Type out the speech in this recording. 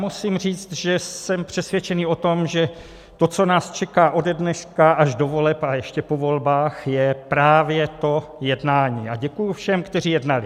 Musím říct, že jsem přesvědčený o tom, že to, co nás čeká ode dneška až do voleb a ještě po volbách, je právě to jednání, a děkuji všem, kteří jednali.